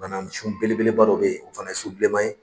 Banasun belebeleba dɔ bɛ yen o fana ye su bilenma ye.